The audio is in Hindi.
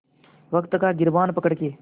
वक़्त का गिरबान पकड़ के